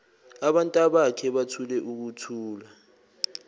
abantabakhe bathule ukuthula